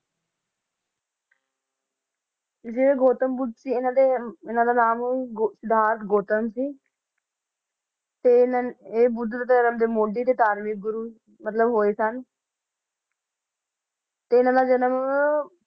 ਜਿਹੜੇ ਗੋਤਮ ਬੁੱਧ ਸੀ ਇਹਨਾਂ ਦੇ ਇਹਨਾਂ ਦਾ ਨਾਮ ਗੋ~ ਗੋਤਮ ਸੀ ਤੇ ਇਹਨਾਂ ਇਹ ਬੁੱਧ ਧਰਮ ਦੇ ਮੋਢੀ ਤੇ ਧਾਰਮਿਕ ਗੁਰੂ ਮਤਲਬ ਹੋਏ ਸਨ ਤੇ ਇਹਨਾਂ ਦਾ ਜਨਮ